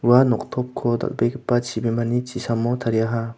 ua noktopko dal·begipa chibimani chisamo tariaha.